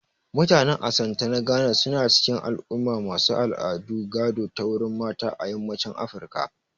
Mutanen Asante na Ghana su na cikin al'umma masu al'adu gado ta wurin mata a yammacin Afirka